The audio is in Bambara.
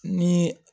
Ni